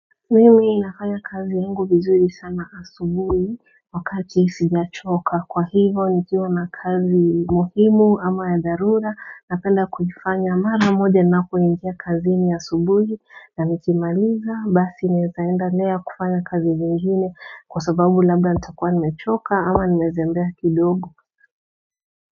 Mimi inafanya kazi yangu vizuri sana asuburi wakati isijia choka kwa hivyo nikiuwa na kazi muhimu ama ya darura na penda kujifanya mara moja na kuindia kazi ni asuburi na nikimaliza basi nitaenda lea kufanya kazi vingine kwa sababu labda nita kwa ni mechoka ama nimezembea kidogo.